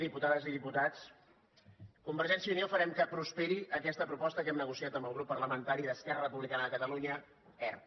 diputades i diputats convergència i unió farem que prosperi aquesta proposta que hem negociat amb el grup parlamentari d’esquerra republicana de catalunya erc